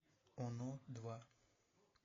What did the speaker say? оно два